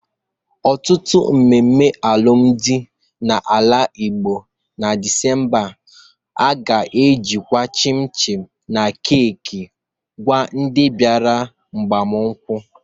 Ọtụtụ emume alụmdị na ala Igbo na Disemba a ga-ejikwa chịm chịm na keeki kwa ndị bịara agbamakwụkwọ.